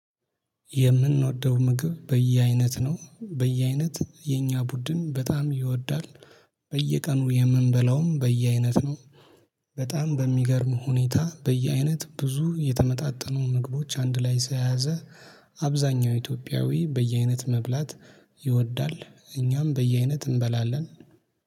የምንወደው ምግብ በየአይነት ነው በየአይነት የኛ ቡድን በጣም ይወዳል በየቀኑ የምንበላውም በየአይነት ነው። በጣም በሚገርም ሁኔታ በየአይነት ብዙ የተመጣጠኑ ምግቦች አንድ ላይ ስለያዘ አብዛኛው ኢትዮጵያዊ በየአይነት መብላት ይወዳል። እኛም በየአይነት እንበላለን።